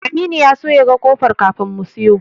Aminu ya so ya ga ƙofar kafin mu siyo.